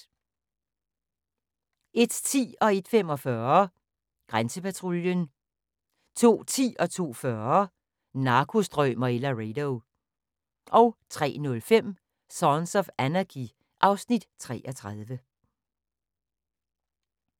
01:10: Grænsepatruljen 01:45: Grænsepatruljen 02:10: Narkostrømer i Laredo 02:40: Narkostrømer i Laredo 03:05: Sons of Anarchy (Afs. 33)